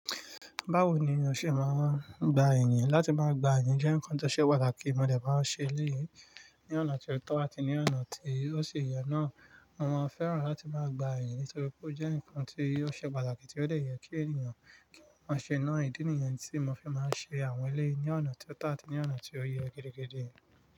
Báwo ni o ṣe máa ń gba ènìyàn? Láti máa gba ènìyàn jẹ́ nǹkan tó ṣe pàtàkì. Mo dẹ̀ máa ń ṣe eléyìí ní ọ̀nà ti ó to àti ní ọ̀nà tí ó ṣi ye náà. Mo maa n fẹ́ràn láti máa gba ènìyàn nítorí pé ó jẹ́ nǹkan tó ṣe pàtàkì tí ó dẹ̀ yẹ kí ènìyàn kí wọ́n ṣe náà. Ìdí nìyẹn tí mo fi máa ń ṣe àwọn eléyìí ní ọ̀nà ti ó to àti ní ọ̀nà tí ó yẹ gidigidi.